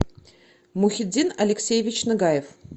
мухиддин алексеевич нагаев